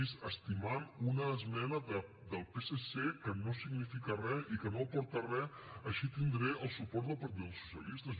estimant una esmena del psc que no significa res i que no aporta res així tindré el suport del partit dels socialistes